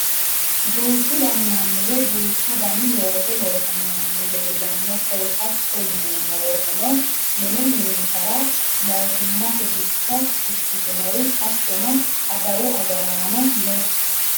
duuchu dani manni woy duucha dani looso loosanno manni leelanno koye, hatto yineemmo woteno mine mintaari. mootimmate bissa ikkitinori, hattono adawu agaraanono no.